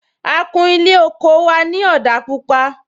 A kún Ilé oko wa ni òdà pupa